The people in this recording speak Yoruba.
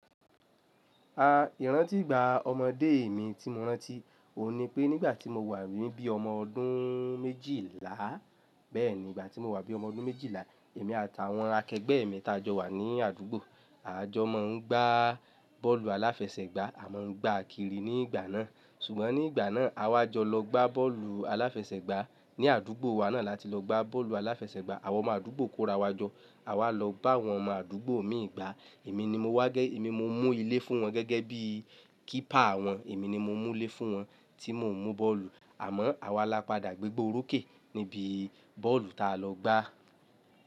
Ìrántí ìgbà ọmọdé mi tí mo rántí, ohùn ni pé nígbà tí mo wà níbí ọmọ ọdún méjìlá, bẹ́ẹ̀ni, ìgbà tí mo wà bí ọmọ ọdún méjìlá, èmi àti àwọn akẹgbẹ́ mi ta jọ wà ní àdúgbò. A jọ máa ń gbá bọ́ọ̀lù aláfẹsẹ̀gbá, a máa ń gbá àkìrí ní ìgbà náà. Ṣùgbọ́n ní ìgbà náà, a wá jọ lọ gbá bọ́ọ̀lù aláfẹsẹ̀gbá ní àdúgbò wa náà láti lọ gbá bọ́ọ̀lù aláfẹsẹ̀gbá àwọn ọmọ àdúgbò kó ra wa jọ. A wá lọ bá àwọn ọmọ àdúgbò imi gbà, èmi ni mo wá, èmi mo múlé fún wọn gẹ́gẹ́ bí kípà wọn, èmi ni mo múlé fún wọn tí mo ń mú bọ́ọ̀lù. Àmọ́, àwa lápádà gbégbá orókè níbi bọ́ọ̀lù ta lọ gbá.